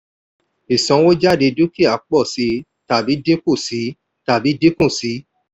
ìsanwójádé dúkìá pọ̀ sí i tàbí dínkù sí tàbí dínkù sí i.